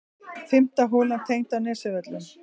Fimmta holan tengd á Nesjavöllum.